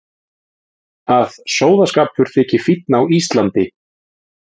Að sóðaskapur þyki fínn á Íslandi.